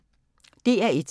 DR1